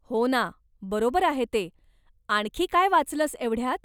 हो ना, बरोबर आहे ते, आणखी काय वाचलंस एवढ्यात?